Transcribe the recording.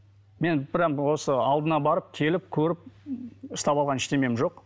мен прямо осы алдына барып келіп көріп ұстап алған ештеңем жоқ